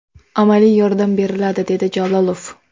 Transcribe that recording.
Amaliy yordam beriladi”, dedi Jalolov.